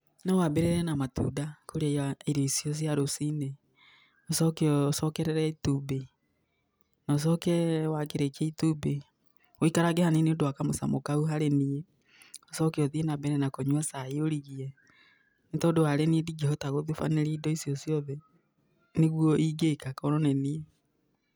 No wambĩrĩrie na matunda kũrĩa irio icio cia rũcinĩ, ucoke ucokerere itumbĩ na ucoke wakĩrĩkia itumbĩ ũikarange hanini nĩũndu wa kamũcamo kau harĩ niĩ, ucoke ũthiĩ na mbere kũnyua cai ũrigie. Nĩ tondũ harĩ niĩ ndingĩhota gũtubanĩria indo icio ciothe. Nĩguo ĩngĩka korwo nĩ niĩ.